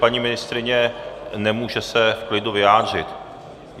Paní ministryně se nemůže v klidu vyjádřit.